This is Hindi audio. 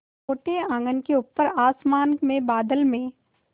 छोटे आँगन के ऊपर आसमान में बादल में